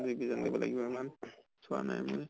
জানি লব লাগিব ইমান চোৱা নাই মই